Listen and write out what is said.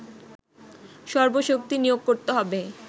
সর্বশক্তি নিয়োগ করতে হবে